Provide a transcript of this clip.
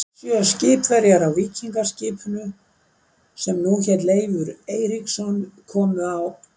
Sjö skipverjar á víkingaskipinu, sem nú hét Leifur Eiríksson, komu á